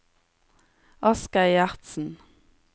Asgeir Gjertsen